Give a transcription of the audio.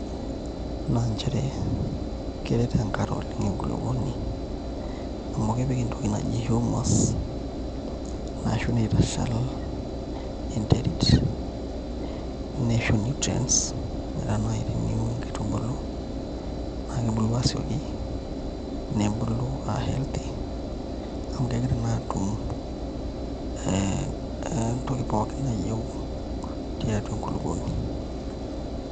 Naa nchere keret enkare oleng' enkulukuoni amu kepik entoki naji humus nitashal enterit nisho nutrients metaa naai teniun nakitubulu naa kebuku aasioki nebulu aa healthy amu kegira naa aatum entoki pookin nayieu tiatua enkulukuoni.